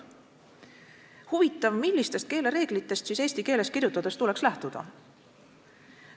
" Huvitav, millistest keelereeglitest siis eesti keeles kirjutades tuleks lähtuda?